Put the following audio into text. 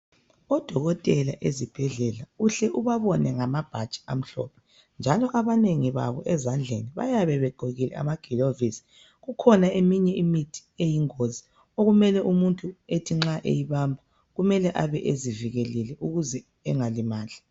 Odokotela ezibhedlela uhle ubabone ngamabhatshi amhlophe njalo abanengi babo ezandleni bayabe begqokile amagilovisi. Kukhona eminye imithi eyingozi okumele umuntu ethi nxa eyibamba kumele abe ezivikelile ukuze engalimali.